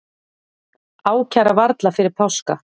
Ákæra varla fyrir páska